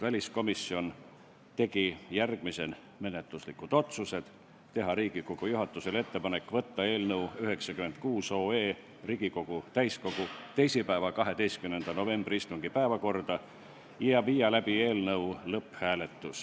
Väliskomisjon tegi järgmised menetluslikud otsused: teha Riigikogu juhatusele ettepanek võtta eelnõu 96 Riigikogu täiskogu teisipäeva, 21. novembri päevakorda ja viia läbi eelnõu lõpphääletus.